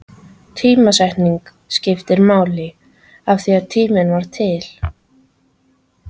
Tímasetningin skipti máli, af því tíminn var til.